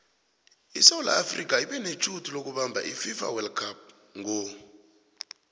isewula afrika ibenetjhudu lokubamab ififa wold cup ngo